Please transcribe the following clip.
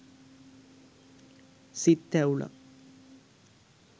සිත් තැවුලක්